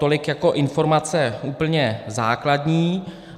Tolik jako informace úplně základní.